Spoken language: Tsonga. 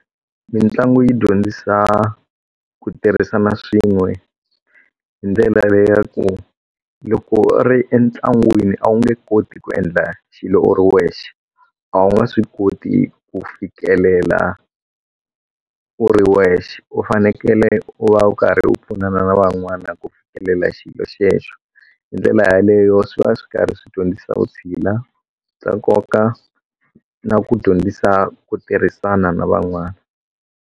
Mitlangu yi dyondzisa ku tirhisana swin'we hi ndlela leya ku loko a ri entlangwini a wu nge koti ku endla xilo u ri wexe a wu nga swi koti ku fikelela u ri wexe u fanekele u va u karhi u pfunana na van'wana ku fikelela xilo xo xexo hi ndlela yeleyo swi va swi karhi swi dyondzisa u vutshila bya nkoka na ku dyondzisa ku tirhisana na van'wana.